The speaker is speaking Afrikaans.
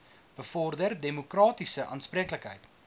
bevorder demokratiese aanspreeklikheid